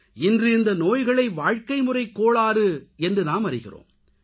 இன்று இந்த நோய்களை வாழ்க்கைமுறைக் கோளாறு என்று நாம் அறிகிறோம்